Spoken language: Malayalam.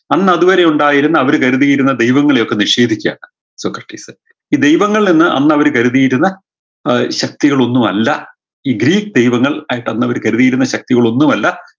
അന്നതുവരെ ഉണ്ടായിരുന്ന അവര് കരുതിയിരുന്ന ദൈവങ്ങളെയൊക്കെ നിഷേധിക്കുകയാണ് സോക്രടീസ് ഈ ദൈവങ്ങൾ എന്ന് അന്ന് അവര് കരുതിയിരുന്ന ഏർ ശക്തികളൊന്ന്വല്ല ഈ ഗ്രീക്ക് ദൈവങ്ങൾ ആയിട്ട് അന്ന് അവര് കരുതിയിരുന്ന ശക്തികൾ ഒന്ന്വല്ല